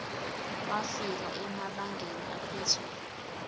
wafika emabangeni aphezulu